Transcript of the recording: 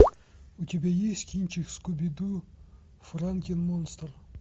у тебя есть кинчик скуби ду франкен монстр